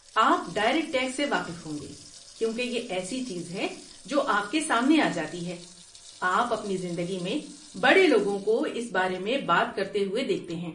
آپ direct tax سے واقف ہوں گے کیونکہ یہ ایسی چیز ہے جو آپ کے سامنے آ جاتی ہے، آپ اپنی زندگی میں بڑے لوگوں کو اس بارے میں بات کرتے ہوئے دیکھتے ہیں۔